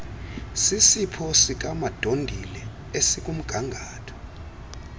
sisipho sikamadondile esikumgangatho